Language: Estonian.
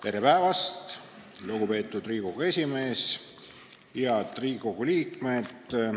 Tere päevast, lugupeetud Riigikogu esimees ja head Riigikogu liikmed!